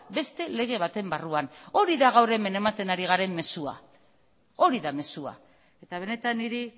beste lege baten barruan hori da gaur hemen ematen ari garen mezua hori da mezua eta benetan niri